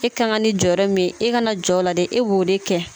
I ka kan ni jɔyɔrɔ min ye i kana jɔ o la dɛ e b'o de kɛ